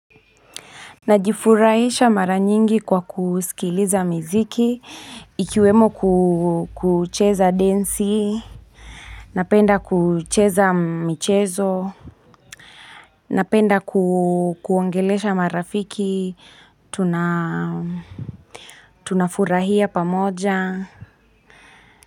Najifurahisha mara nyingi kwa kusikiliza miziki ikiwemo kucheza densi, napenda kucheza michezo, napenda kuongelesha marafiki, tunafurahia pamoja.